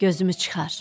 Gözümü çıxar.